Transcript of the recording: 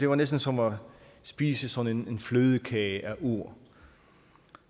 var næsten som at spise sådan en flødekage af ord